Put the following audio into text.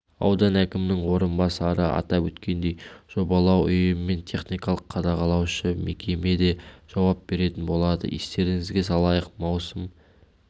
аудан әкімінің орынбасары атап өткендей жобалау ұйымымен техникалық қадағалаушы мекеме дежауап беретін болады естеріңізге салайық маусым